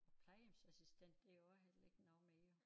Og plejehjemsassistent det jo også heller ikke noget mere